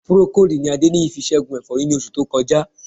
Procold ni Adéníyì fi ṣẹ́gun ẹ̀fọ́rí ní oṣù tó kọjá